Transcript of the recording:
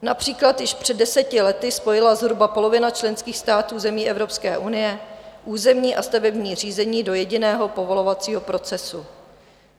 Například již před deseti lety spojila zhruba polovina členských států zemí EU územní a stavební řízení do jediného povolovacího procesu.